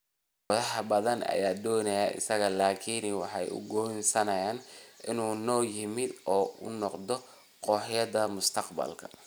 Kooxo badan ayaa doonayay isaga laakiin waxa uu go’aansaday inuu noo yimaado oo uu noqdo kooxdayada mustaqbalka”.